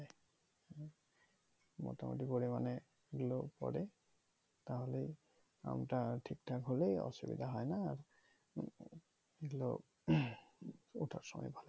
মোটামুটি পরিমানে হলেও পরে তাহলে আমটা আর ঠিকঠাক হলে অসুবিধা হয়না আর